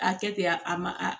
A kɛ ten a ma a